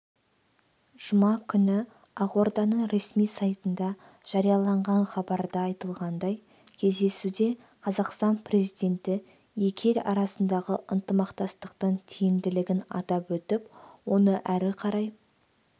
жұма күні ақорданың ресми сайтында жарияланған хабарда айтылғандай кездесуде қазақстан президенті екі ел арасындағы ынтымақтастықтың тиімділігін атап өтіп оны әрі қарай